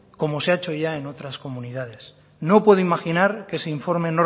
como se ha hecho ya en otras comunidades no puedo imaginar que ese informe